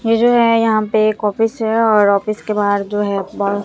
ये जो है यहां पे एक ऑफिस है और ऑफिस के बाहर जो है--